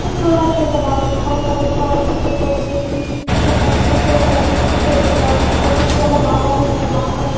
చూడడానికి యెంత బాగుంది కలర్ కలర్ ఫ్లవర్స్ ని డెకొరేట్ చేసి మనకి నచ్చినట్టు సెలెక్ట్ చేసుకుంటే ఎంత బావుంటుంది ఫొటోస్ చాల బాగా వస్తాయి బాగా --